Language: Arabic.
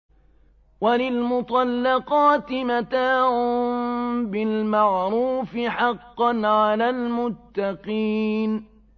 وَلِلْمُطَلَّقَاتِ مَتَاعٌ بِالْمَعْرُوفِ ۖ حَقًّا عَلَى الْمُتَّقِينَ